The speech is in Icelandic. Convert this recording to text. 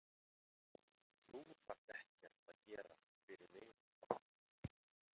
Þú þarft ekkert að gera fyrir mig.